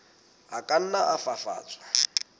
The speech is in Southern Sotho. a ka nna a fafatswa